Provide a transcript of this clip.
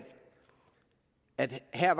at vi her